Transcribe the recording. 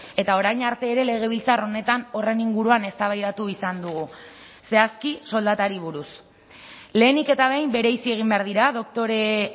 eta orain arte ere legebiltzar honetan horren inguruan eztabaidatu izan dugu zehazki soldatari buruz lehenik eta behin bereizi egin behar dira doktore